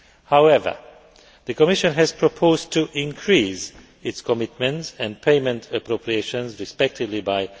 However, the Commission has proposed to increase its commitment and payment appropriations, by